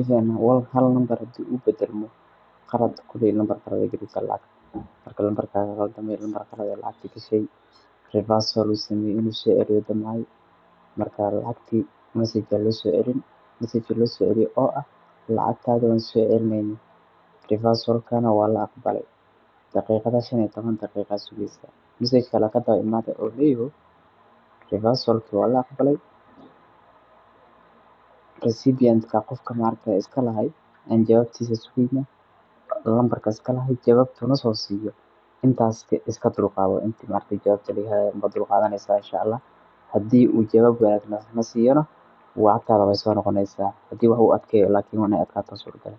even hal nambar hadii ubadalmo qalad koley nambar kaley galeysaa lacagta. Markaa nambarka kaqaldame nambar qalad ay lacagta gashay reversal usamey inuu soo ciliyo damcay markaa lacgti message aa lo soo cilin messagka lo soo cili oo ah lacagtaada waan soo cilineynaa reversalkana waala aqbalay daqiiqada shan iyo toban daqiiqa aa sugeysaa message kala kadawa imaaday uleyaho reversalki waa la aqbalay receipientka qofka ma aragtaa iskalahay aan jawaabtiisa nambarka iskalahaay jawabtuu nasoo siiyo intaas iska dulqaado intii ma aragtaa jawaabta lagahaayo unbaa dulqaadaneysaa In shaa Allah hadii uu ma aragte jawaabti nasiiyo lacagtaada wey soo noqoneysaa hadii wax uu adkeeyo inaay adkaata suragal eh.